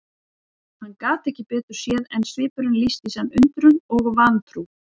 Hann gat ekki betur séð en svipurinn lýsti í senn undrun og vantrú.